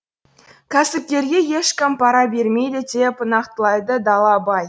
кәсіпкерге ешкім пара бермейді деп нақтылайды далабай